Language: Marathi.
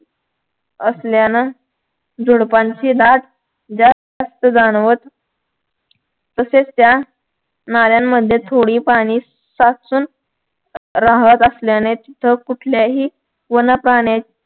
असल्यानं झुडपांची दाट जास्त जाणवत तसेच त्या नाल्यांमध्ये थोडी पाणी साचून राहत असल्याने तिथं कुठल्याही वनप्राण्याची